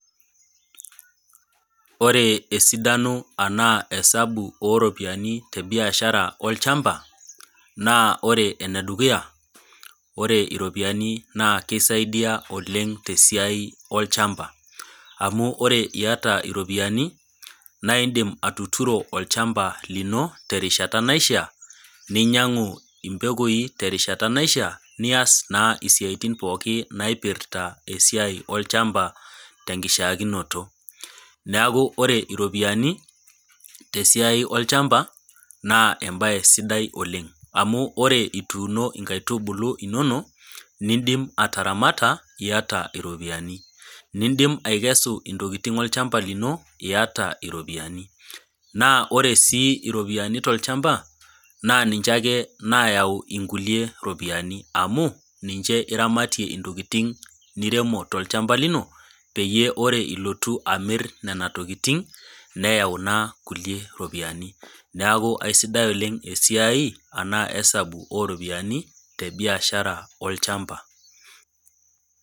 Ore esidano anaa esabu oo iropiani te biashara olchamba, naa ore ene dukuya ore iropiani naa keisaidia oleng' te siai olchamba, amu ore iata iropiani naa indim atuturo olchamba lino terishata naishaa, ninyang'u impekoi terishat naishaa , nias naa isiaitin pooki naipirta esiai olchamba te nkishaakito. Neaku ore iropiani, tesiai olchamba, naa esiai sidai oleng' amu orre ituuno inkaitubulu inono, nindim ataramata, iata iropiani. Nindim aikesu intokitin olchamba lino, iata iropiani. Naa ore sii iropiani tolchamba, naa ninche ake naayau inkulie ropiani, amu ninche iramatie intokitin, niremo tolchamba lino, peyie ore ilotu amir nena tokitin neyau naa kulie ropiani. Neaku aisidai oleng' esiai anaa esabu oo iropiani te biashara olchamba.